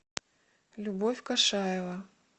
любовь кашаева